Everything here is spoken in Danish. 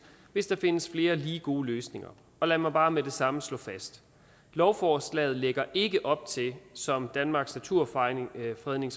hvis der findes flere lige gode løsninger lad mig bare med det samme slå fast lovforslaget lægger ikke op til som danmarks naturfredningsforening